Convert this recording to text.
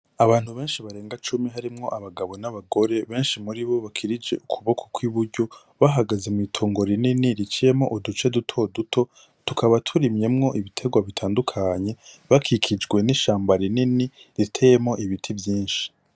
Abantu benshi barenga cumi harimwo abagabo n'abagore benshi muri bo bakirije ukuboko kw'iburyo bahagaze mw'itongo rinini riciyemwo uduce dutoduto tukaba turimyemwo ibiterwa bitandukanye bakikijwe n'ishamba rinini riteyemwo ibiti vyinshi